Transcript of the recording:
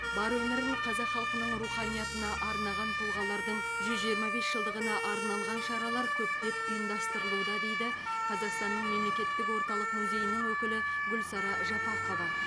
бар өмірін қазақ халқының руханиятына арнаған тұлғалардың жүз жиырма бес жылдығына арналған шаралар көптеп ұйымдастырылуда дейді қазақстанның мемлекеттік орталық музейінің өкілі гүлсара жапақова